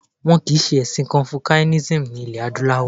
Wọn kìí ṣe ẹ̀sìn Confucianism ní ilẹ̀ adúláwọ̀